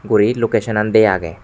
uri lokeson an de agey.